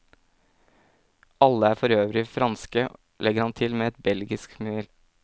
Alle er forøvrig franske, legger han til med belgisk smil.